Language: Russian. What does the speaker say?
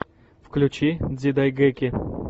включи дзидайгэки